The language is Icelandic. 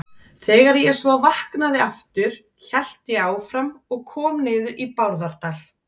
Þegar ég svo vaknaði aftur hélt ég áfram og kom niður í Bárðardal.